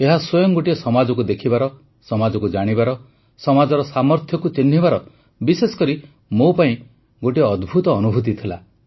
ଏହା ସ୍ୱୟଂ ଗୋଟିଏ ସମାଜକୁ ଦେଖିବାର ସମାଜକୁ ଜାଣିବାର ସମାଜର ସାମର୍ଥ୍ୟକୁ ଚିହ୍ନିବାର ବିଶେଷ କରି ମୋ ପାଇଁ ଗୋଟିଏ ଅଦ୍ଭୁତ ଅନୁଭୂତି ଥିଲା